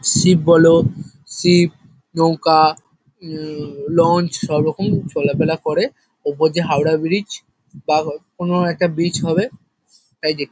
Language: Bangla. শিপ বলো শিপ নৌকা উম লঞ্চ সবরকম চলাফেরা করে। ওপর দিয়ে হাওড়া ব্রিজ বা হয় কোনো একটা ব্রিজ হবে। তাই দে --